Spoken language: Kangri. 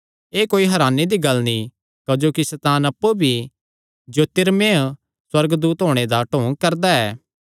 एह़ कोई हरानी दी गल्ल नीं क्जोकि सैतान अप्पु भी ज्योतिर्मय सुअर्गदूत होणे दा ढोंग करदा ऐ